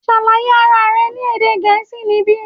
Ṣàlàyé ara rẹ ní èdè gẹ̀ẹ́sì níbí!